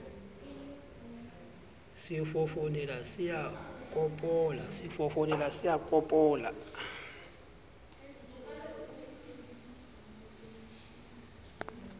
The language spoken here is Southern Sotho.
se fofonela se a kopola